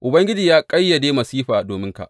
Ubangiji ya ƙayyade masifa dominka.